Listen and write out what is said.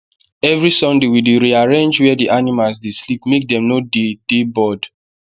every sunday we dey rearrange where the animals dey sleep make dem no dey dey bored